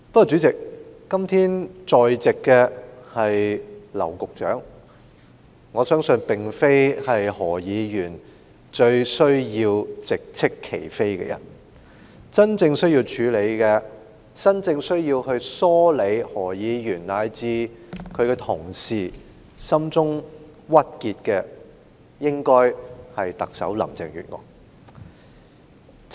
主席，但今天在席的是劉局長，相信不是何議員亟欲直斥其非的人；而真正須要處理及梳理何議員和其同事心中鬱結的人，應該是特首林鄭月娥。